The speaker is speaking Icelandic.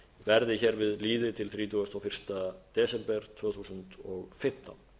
verði hér við lýði til þrítugasta og fyrsta desember tvö þúsund og fimmtán